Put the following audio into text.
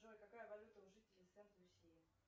джой какая валюта у жителей в сент люсии